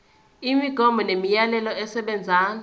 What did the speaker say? imigomo nemiyalelo esebenza